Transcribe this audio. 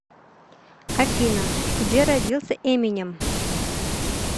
афина где родился эминем